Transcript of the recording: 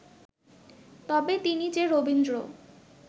তবে তিনি যে রবীন্দ্র